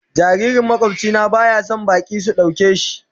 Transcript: Jaririn makwabci na baya son baki sun dauka shi.